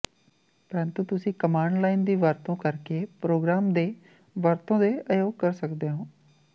ਪਰੰਤੂ ਤੁਸੀਂ command line ਦੀ ਵਰਤੋਂ ਕਰਕੇ ਪ੍ਰੋਗ੍ਰਾਮ ਦੇ ਵਰਤੋਂ ਦੇ ਅਯੋਗ ਕਰ ਸਕਦੇ ਹੋ